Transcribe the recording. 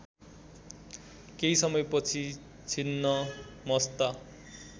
केही समयपछि छिन्नमस्ता